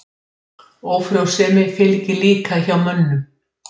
Litan er hringlaga himna framan á auganu.